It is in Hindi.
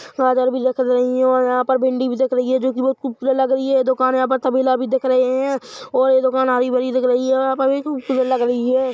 गाजर भी दिख रही और यहां पर भींडी भी दिख रही है जो की खूबसूरत लग रही दुकान यहां पर तबेला भी दिख रही है और ये दुकान हरी भरी दिख रही है और ये खूबसूरत लग रही हैं ।